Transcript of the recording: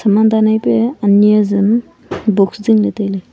saman dan ai pia ani azam box zingley tailey.